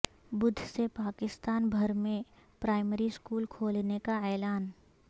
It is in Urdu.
بدھ سے پاکستان بھر میں پرائمری سکول کھولنے کا اعلان